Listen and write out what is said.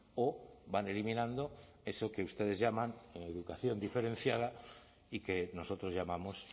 o van eliminando eso que ustedes llaman educación diferenciada y que nosotros llamamos